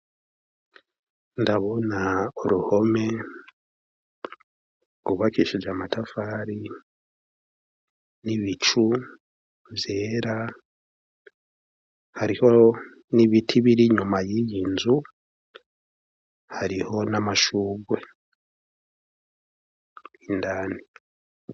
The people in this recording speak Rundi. Ndabona uruhome rwubakishije amatafari, n'ibicu vyera, hariho n'ibiti biri inyuma y'iyi nzu, hariho n'amashurwe indani.